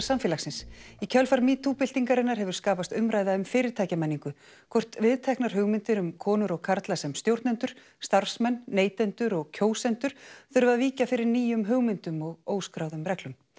samfélagsins í kjölfar metoo byltingarinnar hefur skapast umræða um fyrirtækjamenningu hvort viðteknar hugmyndir um konur og karla sem stjórnendur starfsmenn neytendur og kjósendur þurfi að víkja fyrir nýjum hugmyndum og óskráðum reglum